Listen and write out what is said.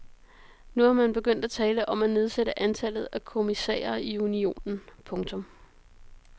Nu er man begyndt at tale om at nedsætte antallet af kommissærer i unionen. punktum